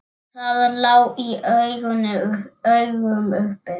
Það lá í augum uppi.